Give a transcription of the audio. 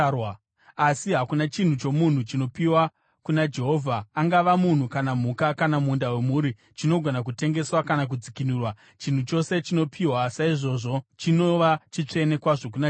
“ ‘Asi hakuna chinhu chomunhu chinopiwa kuna Jehovha, angava munhu kana mhuka kana munda wemhuri, chinogona kutengeswa kana kudzikinurwa; chinhu chose chinopiwa saizvozvo chinova chitsvene kwazvo kuna Jehovha.